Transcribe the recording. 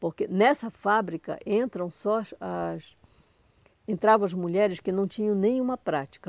porque nessa fábrica entram só as as entravam as mulheres que não tinham nenhuma prática.